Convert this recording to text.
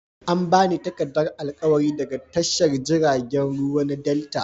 An ba ni takardar alƙawari daga tashar jiragen ruwa na delta.